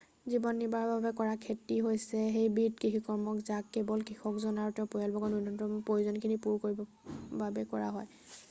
জীৱন নিৰ্বাহৰ বাবে কৰা খেতি হৈছে সেইবিধ কৃষিকৰ্ম যাক কেৱল কৃষকজন আৰু তেওঁৰ পৰিয়ালবৰ্গৰ ন্যূনতম প্ৰয়োজনখিনি পূৰা কৰিবৰ বাবে কৰা হয়